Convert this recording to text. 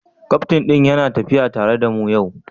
Kaftin ɗin yana tafiya tare da mu yau?